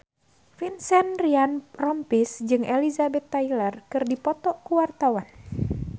Vincent Ryan Rompies jeung Elizabeth Taylor keur dipoto ku wartawan